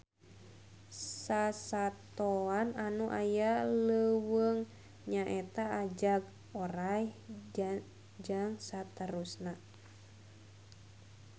Sasatoan anu aya di leuweung nyaeta ajag, oray, jst